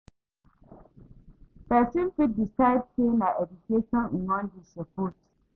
Persin fit decide say na education im won de support